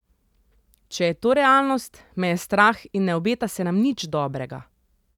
Če je to realnost, me je strah in ne obeta se nam nič dobrega.